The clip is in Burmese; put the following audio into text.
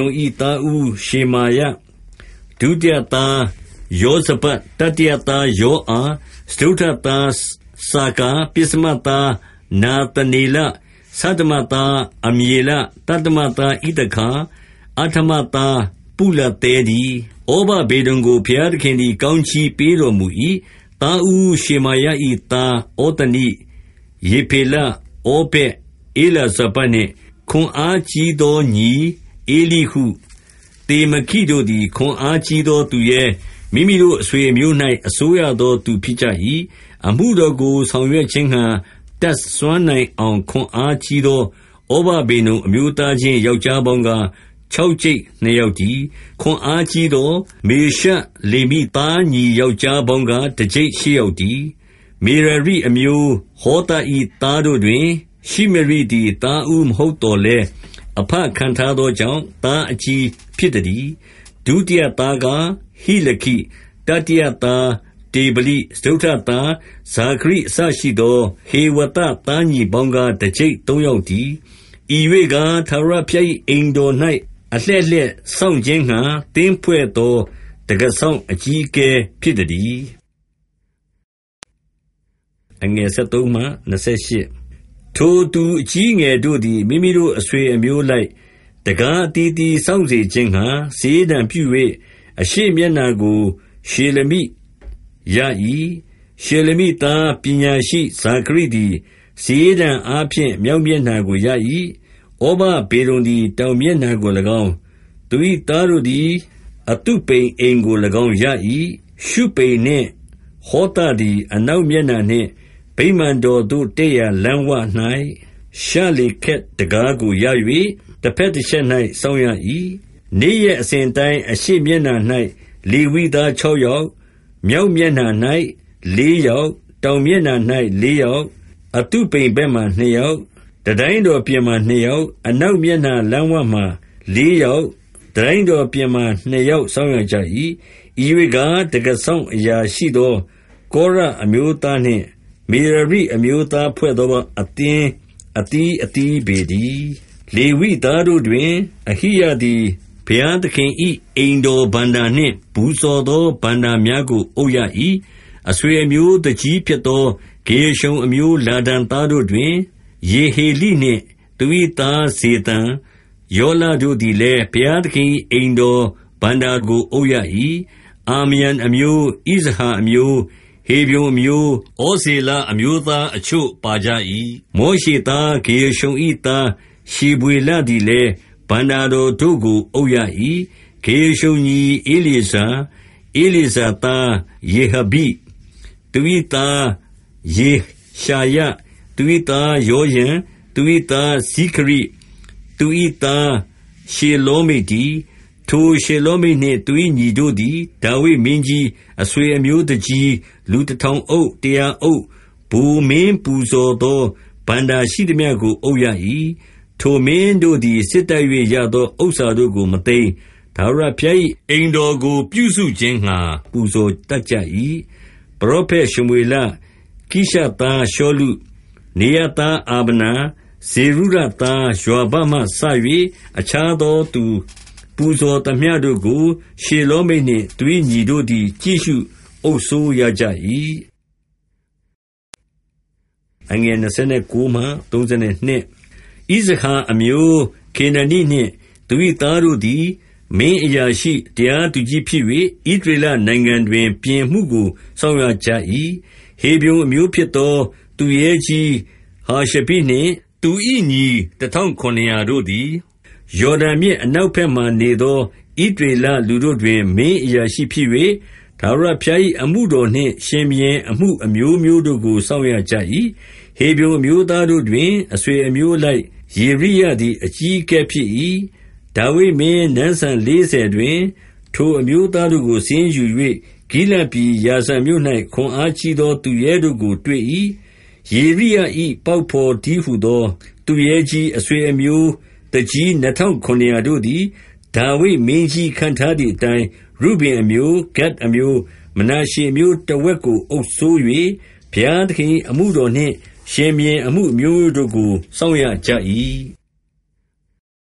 ုံ၏သားဦး ရှမောယ၊ ဒုတိယသား ယောဇဗပျ၊ တတိယသား ယောအာ၊ စတုတ်ထသား စာကာ၊ ပဉ်စမသား နာသနလေ၊ ဆဋ္ဌမသား အမျေလ၊ သတ္တမသား ဣသခါ၊ အဋ္ဌမသား ပုလသဲတည်း။ ဩဗဒေဒုံကို ဘုရားသခင်သည် ကောင်းချီးပေးတော်မူ၏။ သားဦးရှေမာယ၏သား ဩသနိ၊ ရေဖေလ၊ ဩဗက်၊ ဧလာဇာဗဒ်နှင့် ခွန်အားကြီးသောညီ ဧလိဟု၊ သေမခိတို့သည် ခွန်အားကြီးသားသူရဲ၊ မိမိတို့အဆွေအမျိုး၌ အစိုးရသောသူဖြစ်ကြ၏။ အမှုတော်ကိုဆောင်ရွက်ခြင်းငှာ တတ်စွမ်းနိုင်အောင် ခွန်အားကြီးသော ဩဗဒေဒုံအမျိုးသားချင်း ယောက်ျားပေါင်းကား ခြောက်ကျိပ်နှစ်ယောက်တည်း။ ခွန်အားကြီးသော မေရှလေမိသားညီ ယောက်ျားပေါင်းကား တစ်ကျိပ်ရှစ်ယောက်တည်း။ မေရာရိအမျိုး၊ ဟောသ၏သားတို့တွင် ရှိမရိသည် သားဦးမဟုတ်သော်လည်း၊ အဘခန့်ထားသောကြောင့် သားအကြီးဖြစ်သတည်း။ ဒုတိယသားကား ဟိလခိ၊ တတိယသား တေဗလိ၊ စတုတ္ထသား ဇာခရိအစရှိသော ဟေဝသသားညီပေါင်းကား တစ်ကျိပ်သုံးယောက်တည်း။ ဤရွေ့ကား ဘုရားသခင်၏အိမ်တော်၌ အလှည့်လှည့်စောင့်ခြင်းငှာ သင်းဖွဲ့သော ဝင်းတံခါးဝစောင့်အကြီးအကဲဖြစ်သတည်း။ ထိုသူအကြီးအငယ်တို့သည်၊ မိမိတို့ အဆွေအမျိုးအလိုက် တံခါးအသီးအသီးစောင့်စေခြင်းငှာ စာရေးတံပြုကြ၍၊ အရှေ့မျက်နှာကို ရှေလမိရ၏။ ရှေလမိသားပညာရှိဇာခရိသည် စာရေးတံအားဖြင့် မြောက်မျက်နှာကိုရ၏။ ဩဗဒေဒုံသည် တောင်မျက်နှာကိုလည်းကောင်း၊ သူ၏သားတို့သည် အသုပိမ်အိမ်ကိုလည်းကောင်းရ၏။ ရှုပိန်နှင့်ဟောသသည် အနောက်မျက်နှာနှင့် ဗိမာန်တော်သို့ တက်ရာလမ်းဝ၌ ရှလ္လေခက်တံခါးကိုရ၍ တစ်ဖက်တစ်ချက်၌ စောင့်ရ၏။ နေ့ရက်အစဉ်အတိုင်း အရှေ့မျက်နှာ၌ လေဝိသားခြောက်ယောက်၊ မြောက်မျက်နှာ၌ လေးယောက်၊ တောင်မျက်နှာ၌ လေးယောက်၊ အသုပိမ်ဘက်မှာ နှစ်ယောက်၊ တံတိုင်းတော်ပြင်မှာ နှစ်ယောက်၊ အနောက်မျက်နှာ လမ်းဝမှာလေးယောက်၊ တံတိုင်းတော်ပြင်မှာ နှစ်ယောက်စောင့်ရကြ၏။ ဤရွေ့ကား၊ တံခါးစောင့်အရာရှိသော ကောရအမျိုးသားနှင့် မေရရိအမျိုးသားဖွဲ့သောအသင်း အသီးအသီးပေတည်း။ ဗိမာန်တော်တွင်းအခြားတာဝန်များ လေဝိသားတို့တွင်၊ အဟိယသည် ဘုရားသခင်၏အိမ်တော်ဘဏ္ဍာနှင့် ပူဇော်သောဘဏ္ဍာများကို အုပ်ရ၏။ အဆွေအမျိုးသူကြီးဖြစ်သော ဂေရရှုံအမျိုး လာဒန်သားတို့တွင် ယေဟေလိနှင့်၊ သူ၏သား ဇေသံ၊ ယောလတို့သည်လည်း ဘုရားသခင်၏အိမ်တော်ဘဏ္ဍာကို အုပ်ရ၏။ အာမရံအမျိုး၊ ဣဇဟာအမျိုး၊ ဟေဗြုန်အမျိုး၊ ဩဇေလအမျိုးအချို့ ပါကြ၏။ မောရှေသား ဂေရရှုံ၏သားရှေဗွေလသည်လည်း ဘဏ္ဍာတော်တို့ကို အုပ်ရ၏။ ဂေရရှုံညီဧလျေဇာ၊ ဧလျေဇာသား ရေဟဗိ၊ သူ၏သား ယေရှာယ၊ သူ၏သား ယောရံ၊ သူ၏သား ဇိခရိ၊ သူ၏သား ရှေလောမိတ်တည်း။ ထိုရှေလောမိတ်နှင့် သူ၏ညီတို့သည် ဒါဝိဒ်မင်းကြီး၊ အဆွေအမျိုးသူကြီး၊ လူတစ်ထောင်အုပ်၊ တစ်ရာအုပ်၊ ဗိုလ်မင်းပူဇော်သော ဘဏ္ဍာရှိသမျှကို အုပ်ရ၏။ ထိုမင်းတို့သည် စစ်တိုက်၍ရသောဥစ္စာတို့ကို မသိမ်း၊ ထာဝရဘုရား၏ အိမ်တော်ကိုပြုစုခြင်းငှာ ပူဇော်တတ်ကြ၏။ ပရောဖက်ရှမွေလ၊ ကိရှသား ရှောလု၊ နေရသား အာဗနာ၊ ဇေရုယာသား ယွာဘမှစ၍ အခြားသောသူ ပူဇော်သမျှတို့ကို၊ ရှေလောမိတ်နှင့် သူ၏ညီတို့သည် ကြည့်ရှုအုပ်စိုးရကြ၏။ အခြားလေဝိအနွယ်ဝင်တို့၏တာဝန်များ ဣဇဟာအမျိုးခေနနိနှင့် သူ၏သားတို့သည် မင်းအရာရှိ၊ တရားသူကြီးဖြစ်၍၊ ဣသရေလနိုင်ငံတွင် ပြင်အမှုကို စောင့်ရကြ၏။ ဟေဗြုန်အမျိုးဖြစ်သော သူရဲကြီးဟာရှဘိနှင့် သူ၏ညီ တစ်ထောင်ခုနစ်ရာတို့သည်၊ ယော်ဒန်မြစ် အနောက်ဘက်မှာနေသော ဣသရေလလူတို့တွင် မင်းအရာရှိဖြစ်၍၊ ထာဝရဘုရား၏အမှုတော်နှင့် ရှင်ဘုရင်အမှု အမျိုးမျိုးတို့ကို စောင့်ရကြ၏။ ဟေဗြုန်အမျိုးသားတို့တွင်၊ အဆွေအမျိုးအလိုက် ယေရိယသည် အကြီးအကဲဖြစ်၏။ ဒါဝိဒ်မင်းနန်းစံလေးဆယ်တွင်၊ ထိုအမျိုးသားတို့ကို စာရင်းယူ၍ ဂိလဒ်ပြည်ယာဇာမြို့၌ ခွန်အားကြီးသောသူရဲတို့ကို တွေ့၏။ ယေရိယ၏ပေါက်ဖော်တည်းဟူသော သူရဲကြီး၊ အဆွေအမျိုးသူကြီး နှစ်ထောင်ခုနစ်ရာတို့သည် ဒါဝိဒ်မင်းကြီးခန့်ထားသည်အတိုင်း၊ ရုဗင်အမျိုး၊ ဂဒ်အမျိုး၊ မနာရှေအမျိုးတစ်ဝက်ကိုအုပ်စိုး၍ ဘုရားသခင်၏အမှုတော်နှင့် ရှင်ဘုရင်အမှုအမျိုးမျိုးတို့ကို စောင့်ရကြ၏။